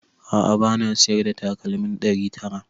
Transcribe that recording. A'a bana siyar da takalmin ɗari tara